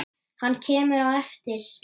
Hann kemur á eftir.